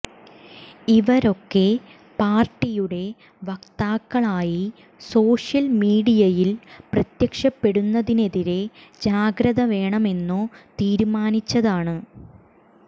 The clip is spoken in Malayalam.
ഇവരൊക്കെ പാർട്ടിയുടെ വക്താക്കളായി സോഷ്യൽ മീഡിയയിൽ പ്രത്യക്ഷപ്പെടുന്നതിനെതിരെ ജാഗ്രത വേണമെന്നു തീരുമാനിച്ചതാണ്